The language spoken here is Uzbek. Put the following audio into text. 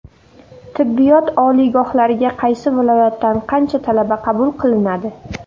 Tibbiyot oliygohlariga qaysi viloyatdan qancha talaba qabul qilinadi?.